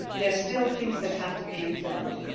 there are still things that have to be implemented.